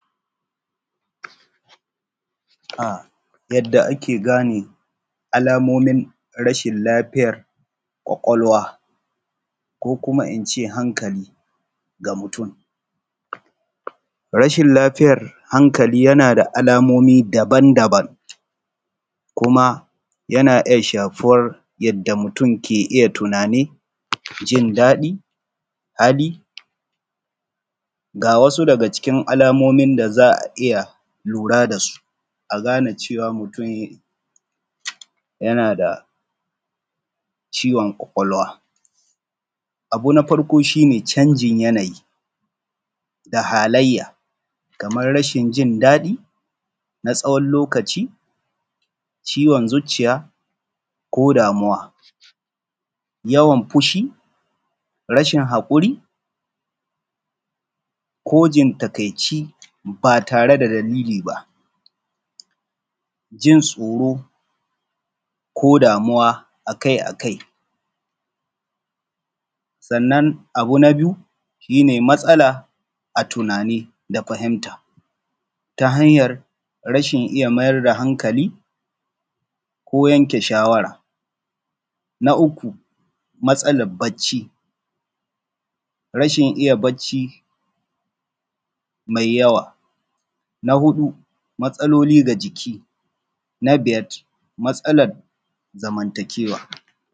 A yadda ake gane alamomin rashin kwakwalwa ko kuma in ce hankali ga mutum. Rashin lafiyar hankali yana da alamomi daban-daban kuma yana iya shafuwar yadda mutum ke iya tunani, jin daɗi, habi ga wasu daga cikin alamomin da za a iya lura da su a gane cewa yana da ciwon kwakwalwa abu na farko shi ne canjin yanayi da hallaya kamar rashin jin daɗi na tsawon lokaci, ciwon zuciya ko damuwa, yawan fushi, rashin haƙuri ko jin takaici ba tare da dalili ba, jin tsoro ko da damuwa akai-kai. Sannan na biyu shi ne matsala a tuani da fahimta ta hanyan rashin iya mayar da hankali ko yanke shawara, na uku matsalar barci, rashin iya bacci mai yawa, na uku matsaloli mai ciki na biyar matsalar zamantakewa.